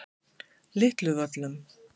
Litlu Völlum